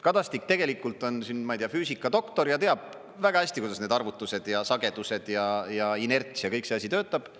Kadastik tegelikult on, ma ei tea, füüsikadoktor ja teab väga hästi, kuidas need arvutused ja sagedused ja inerts ja kõik see asi töötab.